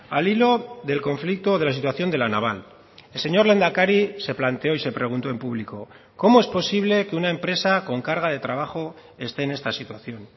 al hilo del conflicto de la situación de la naval el señor lehendakari se planteó y se preguntó en público cómo es posible que una empresa con carga de trabajo esté en esta situación